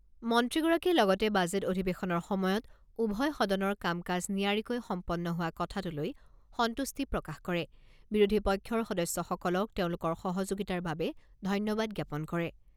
মন্ত্ৰীগৰাকীয়ে লগতে বাজেট অধিৱেশনৰ সময়ত উভয় সদনৰ কাম কাজ নিয়াৰীকৈ সম্পন্ন হোৱা কথাটোলৈ সন্তুষ্টি প্ৰকাশ কৰে বিৰোধী পক্ষৰ সদস্যসকলক তেওঁলোকৰ সহযোগিতাৰ বাবে ধন্যবাদ জ্ঞাপন কৰে।